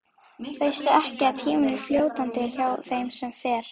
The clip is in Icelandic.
Veistu ekki að tíminn er fljótandi hjá þeim sem fer.